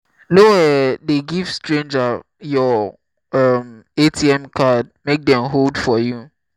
no um dey give stranger your um atm card make dem hold for you